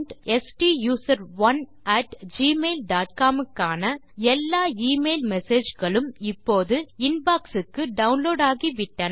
ஸ்டூசரோன் at Gmail dot com க்கான எல்லா email message களும் இப்போது இன்பாக்ஸ் க்கு டவுன்லோட் ஆகிவிட்டன